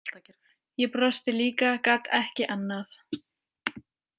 Ég brosti líka, gat ekki annað.